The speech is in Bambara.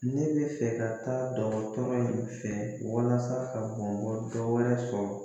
Ne bɛ fɛ ka taa dɔgɔtɔrɔ in fɛ walasa ka bamakɔ dɔ wɛrɛ sɔrɔ